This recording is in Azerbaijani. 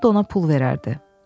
Camaat da ona pul verərdi.